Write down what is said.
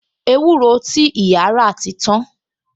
Ewúro ti ìyá rà ti tan